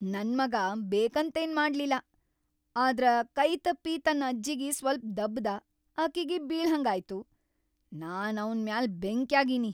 ನನ್‌ ಮಗಾ ಬೇಕಂತೇನ್‌ ಮಾಡ್ಲಿಲ್ಲಾ ಆದ್ರ ಕೈತಪ್ಪಿ ತನ್‌ ಅಜ್ಜಿಗಿ ಸ್ವಲ್ಪ್‌ ದಬ್ಬ್‌ದ ಅಕಿಗಿ ಬೀಳಹಂಗಾಯ್ತು, ನಾನ್‌ ಅವ್ನ್ ಮ್ಯಾಲ್‌ ಬೆಂಕ್ಯಾಗೀನಿ.